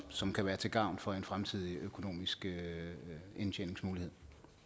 som kan være til gavn for en fremtidig økonomisk indtjeningsmulighed